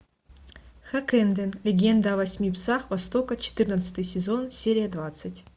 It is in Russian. хаккэндэн легенда о восьми псах востока четырнадцатый сезон серия двадцать